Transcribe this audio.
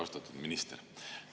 Austatud minister!